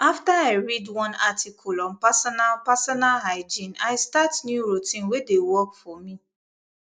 after i read one article on personal personal hygiene i start new routine wey dey work for me